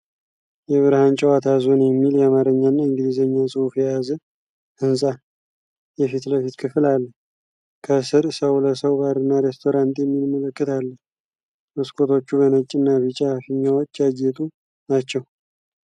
የብርሃን ጨዋታ ዞን የሚል የአማርኛና የእንግሊዝኛ ጽሑፍ የያዘ ህንጻ የፊት ለፊት ክፍል አለ። ከስር 'ሰው ለሰው ባርና ሬስቶራንት' የሚል ምልክት አለ። መስኮቶቹ በነጭና ቢጫ ፊኛዎች ያጌጡ ናቸው።